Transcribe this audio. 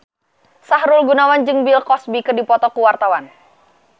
Sahrul Gunawan jeung Bill Cosby keur dipoto ku wartawan